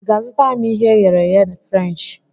I ga-azụtara m ihe e ghere eghe Frenchi?